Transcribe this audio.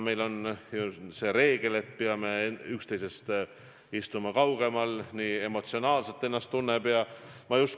Meil on ju see reegel, et peame üksteisest kaugemal istuma.